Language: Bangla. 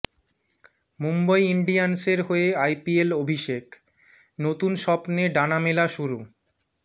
মুম্বই ইন্ডিয়ান্সের হয়ে আইপিএল অভিষেক নতুন স্বপ্নে ডানা মেলা শুরু